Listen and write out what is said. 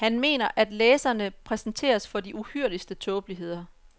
Han mener, at læserne præsenteres for de uhyrligste tåbeligheder.